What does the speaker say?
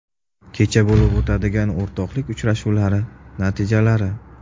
Kecha bo‘lib o‘tgan o‘rtoqlik uchrashuvlari natijalari.